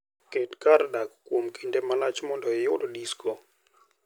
Ket kar dak kuom kinde malach mondo iyud disko.